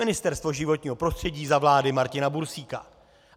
Ministerstvo životního prostředí za vlády Martina Bursíka.